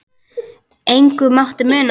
Engu mátti muna.